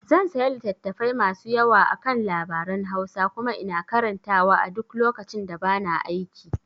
zan saya littatafai masu yawa akan labaran Hausa kuma ina karantawa a duk lokacin da bana aiki